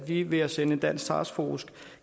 vi ved at sende en dansk taskforce